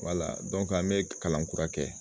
Wala an bɛ kalan kura kɛ.